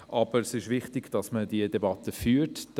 Aber es ist wichtig, diese Debatte zu führen.